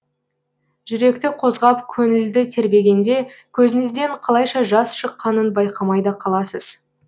жүректі қозғап көңілді тербегенде көзіңізден қалайша жас шыққанын байқамай да қаласыз